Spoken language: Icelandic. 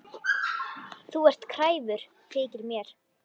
Þú ert kræfur, þykir mér.